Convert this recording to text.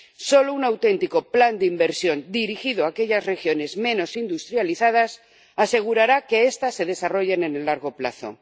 Solo un auténtico plan de inversión dirigido a aquellas regiones menos industrializadas asegurará que estas se desarrollen a largo plazo.